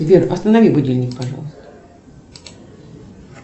сбер останови будильник пожалуйста